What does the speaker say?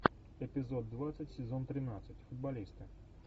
эпизод двадцать сезон тринадцать футболисты